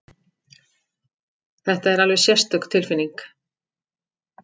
Þetta er alveg sérstök tilfinning!